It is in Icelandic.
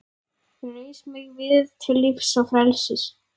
Reis mig við til lífs og frelsis!